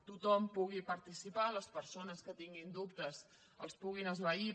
tothom hi pugui participar les persones que tinguin dubtes els puguin esvair